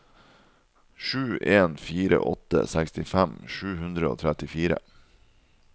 sju en fire åtte sekstifem sju hundre og trettifire